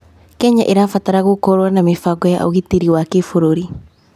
Kenya ĩrabatara gũkorwo na mĩbango ya ũgitĩri wa kĩbũrũri.